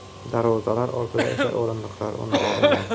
Darvozalar ortida esa o‘rindiqlar o‘rnatilmagan.